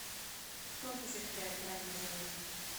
кто осуществляет ранний заезд